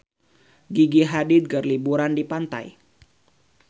Gigi Hadid keur liburan di pantai